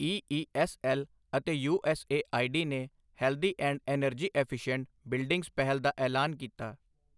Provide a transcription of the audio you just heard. ਈ E S L ਅਤੇ U S A I D ਨੇ healthy and energy efficient buildings ਪਹਿਲ ਦਾ ਐਲਾਨ ਕੀਤਾ